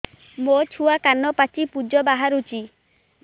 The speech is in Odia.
ମୋ ଛୁଆ କାନ ପାଚି ପୂଜ ବାହାରୁଚି